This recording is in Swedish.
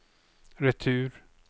retur